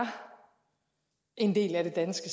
en del af det danske